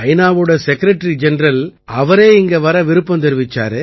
வோட secretary general அவரே இங்க வர விருப்பம் தெரிவிச்சாரு